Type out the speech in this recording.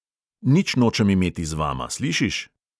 Nič nočem imeti z vama, slišiš?